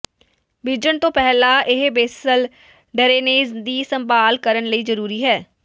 ਬੀਜਣ ਤੋਂ ਪਹਿਲਾਂ ਇਹ ਬੇਸਲ ਡਰੇਨੇਜ ਦੀ ਸੰਭਾਲ ਕਰਨ ਲਈ ਜ਼ਰੂਰੀ ਹੈ